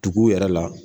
Dugu yɛrɛ la